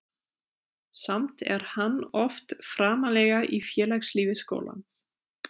Samt er hann oft framarlega í félagslífi skólans.